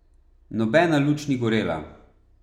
Nobena luč ni gorela.